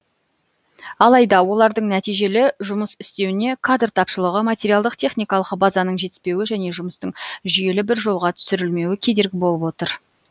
алайда олардың нәтижелі жұмыс істеуіне кадр тапшылығы материалдық техникалық базаның жетіспеуі және жұмыстың жүйелі бір жолға түсірілмеуі кедергі болып отыр